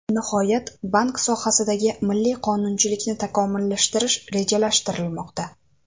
Nihoyat, bank sohasidagi milliy qonunchilikni takomillashtirish rejalashtirilmoqda.